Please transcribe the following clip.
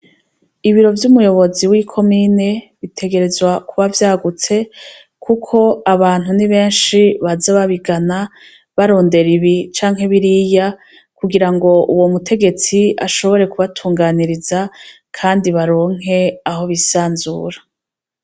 Ibiro vy'umuyobozi wi commune bitegerezwa kuba vyagutse kuko abantu nibenshi baza babigana barondera ibi canke biriya kugirango uwo mutegetsi ashobore kubatunganiriza Kandi baronke aho bisanzura.